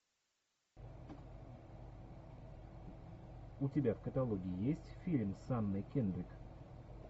у тебя в каталоге есть фильм с анной кендрик